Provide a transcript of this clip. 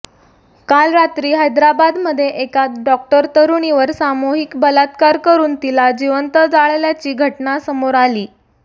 काल रात्री हैदराबादमध्ये एका डॉक्टर तरुणीवर सामूहिक बलात्कार करून तिला जीवंत जाळल्याची घटना समोर आली